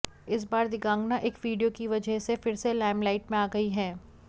इस बार दिगांगना एक वीडियो की वजह से फिर से लाइमलाइट में आ गई हैं